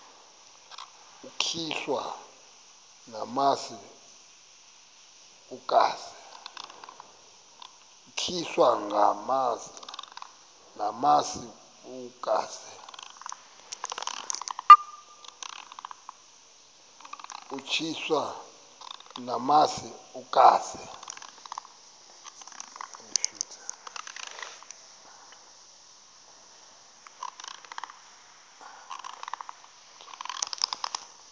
utyiswa namasi ukaze